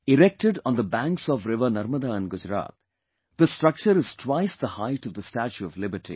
Erected on the banks of river Narmada in Gujarat, the structure is twice the height of the Statue of Liberty